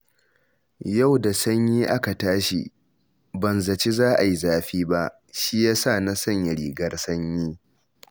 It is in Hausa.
Yau da sanyi aka tashi ban zaci za a yi zafi ba, shi ya sa na sanya rigar sanyi